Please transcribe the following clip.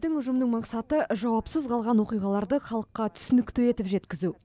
дің ұжымның мақсаты жауапсыз қалған оқиғаларды халыққа түсінікті етіп жеткізу